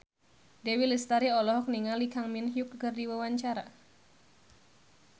Dewi Lestari olohok ningali Kang Min Hyuk keur diwawancara